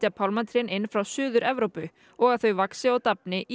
pálmatrén inn frá Suður Evrópu og að þau vaxi og dafni í